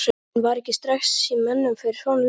En var ekki stress í mönnum fyrir svona leik?